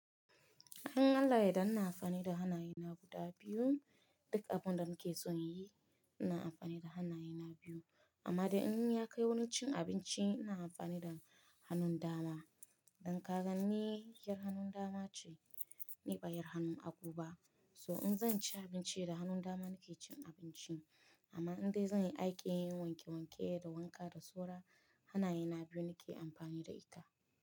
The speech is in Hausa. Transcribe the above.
In Allah yadda inna amfani da hannaye na guda biyu, duk abunda nake son yi ina amfani da hannaye na biyu. Amma da in ya kai wani cin abinci ina amfani da hannun dama. Don kaganni, yar hannun dama ce ni bayar hannun aguba. So in zan ci abinci da hannun dama nake cin abinci. Amma in dai zan yi aikin wanke-wanke da wanka da soro, hannaye na biyu nake amfani da ita.